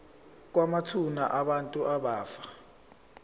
kwamathuna abantu abafa